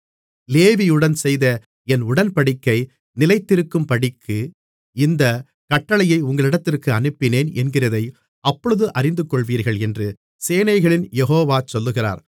லேவியுடன் செய்த என் உடன்படிக்கை நிலைத்திருக்கும்படிக்கு இந்தக் கட்டளையை உங்களிடத்திற்கு அனுப்பினேன் என்கிறதை அப்பொழுது அறிந்துகொள்வீர்கள் என்று சேனைகளின் யெகோவா சொல்லுகிறார்